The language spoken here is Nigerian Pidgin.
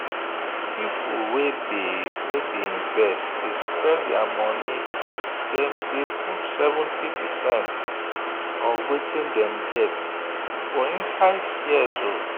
people wey dey wey dey invest dey spread their money dem dey put 70 percent of wetin dem get inside shares.